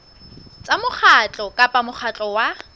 tsa mokgatlo kapa mokgatlo wa